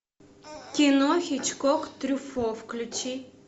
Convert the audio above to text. кино хичкок трюффо включи